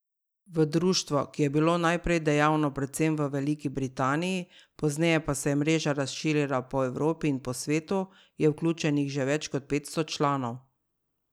V društvo, ki je bilo najprej dejavno predvsem v Veliki Britaniji, pozneje pa se je mreža razširila po Evropi in po svetu, je vključenih že več kot petsto članov.